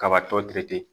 Kabatɔ ti